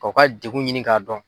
ka u ka degun ɲini k'a dɔn.